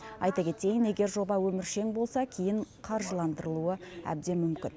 айта кетейін егер жоба өміршең болса кейін қаржыландырылуы әбден мүмкін